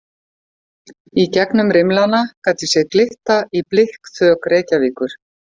Í gegnum rimlana gat ég séð glitta í blikkþök Reykjavíkur.